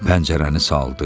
Pəncərəni saldı.